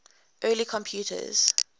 early computers